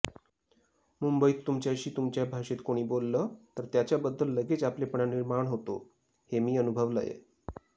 मुंबईत तुमच्याशी तुमच्या भाषेत कोणी बोललं तर त्याच्याबद्दल लगेच आपलेपणा निर्माण होतो हे मी अनुभवलंय